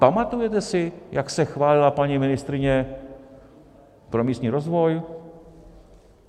Pamatujete si, jak se chválila paní ministryně pro místní rozvoj?